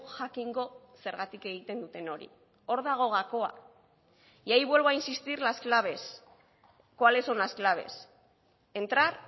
jakingo zergatik egiten duten hori hor dago gakoa y ahí vuelvo a insistir las claves cuáles son las claves entrar